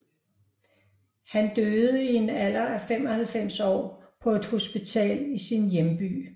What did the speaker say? Han døde i en alder af 95 år på et hospital i sin hjemby